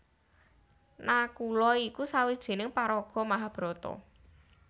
Nakula iku sawijining paraga Mahabharata